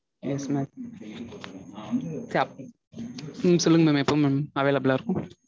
yes mam உம் சொல்லுங்க எப்போம் mam available ஆ இருக்கும்?